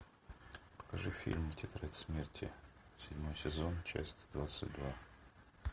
покажи фильм тетрадь смерти седьмой сезон часть двадцать два